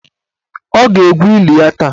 Ọ ga-egwu eli ya taa.